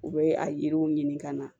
U bɛ a yiriw ɲini ka na